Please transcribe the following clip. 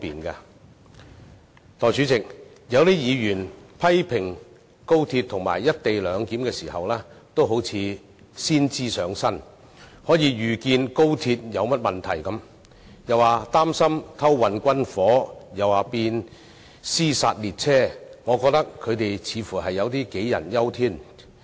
代理主席，有些議員在批評高鐵及"一地兩檢"時有如先知上身，好像可以預見高鐵會出現甚麼問題般，既擔心有人會偷運軍火，又擔心會變成"屍殺列車"，但我認為他們似乎有點杞人憂天。